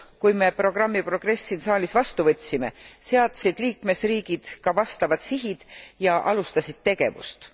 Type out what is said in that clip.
lõpus, kui me programmi Progress siin saalis vastu võtsime, seadsid liikmesriigid ka vastavad sihid ja alustasid tegevust.